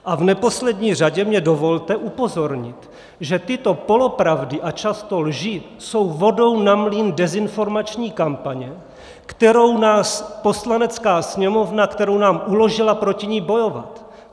A v neposlední řadě mně dovolte upozornit, že tyto polopravdy a často lži jsou vodou na mlýn dezinformační kampaně, kterou nás Poslanecká sněmovna, kterou nám uložila proti ní bojovat.